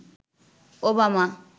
Obama